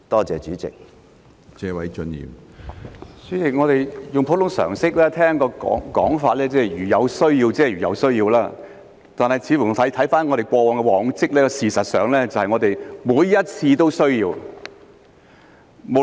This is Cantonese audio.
主席，我們用普通常識聽到的講法是"如有需要"，但觀乎過往的往績，事實上每次都有需要。